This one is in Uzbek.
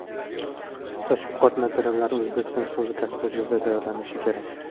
Tashviqot materiallari O‘zbekiston Respublikasi hududida tayyorlanishi kerak.